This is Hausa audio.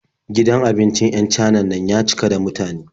Gidan abincin 'yan Canan na ya cika da mutane.